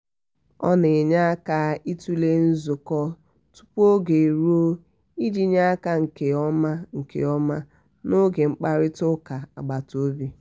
ọ na-enye aka ịtụle nzukọ tupu oge eruo iji nye aka nke ọma nke ọma n'oge mkparịta ụka agbata obi.